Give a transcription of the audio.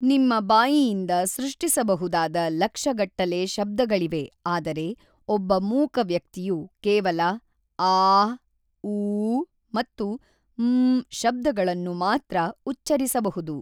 ನಿಮ್ಮ ಬಾಯಿಯಿಂದ ಸೃಷ್ಟಿಸಬಹುದಾದ ಲಕ್ಷಗಟ್ಟಲೆ ಶಬ್ದಗಳಿವೆ ಆದರೆ ಒಬ್ಬ ಮೂಕ ವ್ಯಕ್ತಿಯು ಕೇವಲ ಆಽಽ ಊಽಽ ಮತ್ತು ಮ್ಽಽಽ ಶಬ್ದಗಳನ್ನು ಮಾತ್ರ ಉಚ್ಛರಿಸಬಹುದು.